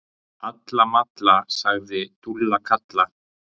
Alla malla, sagði Dúlla Kalla.